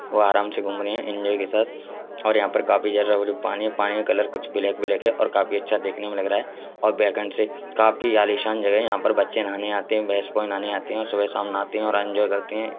वो आराम से घूम रही है एंजेल के साथ और यहाँ पर काफी पानी है| पानी का कलर कुछ ब्लैक - ब्लैक है और काफी अच्छा देखने में लग रहा है| और बैकेंड से काफी आलीशान जगह है| यहाँ बच्चे नहाने आते हैं और भैंसे नहाने आरी है| सुबह-शाम नहाती है बोहोत एनजोये करते हैं।